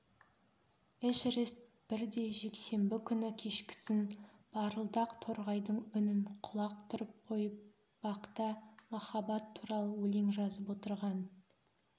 эшерест бірде жексенбі күні кешкісін барылдақ торғайдың үнін құлақ түріп қойып бақта махаббат туралы өлең жазып отырған